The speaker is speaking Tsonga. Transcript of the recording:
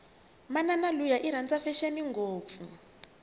manani luya iranda fashini ngopfu